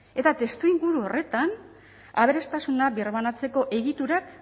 eta testuinguru horretan aberastasuna birbanatzeko egiturak